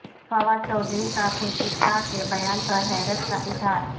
فواد چوہدری کا خورشید شاہ کے بیان پر حیرت کا اظہار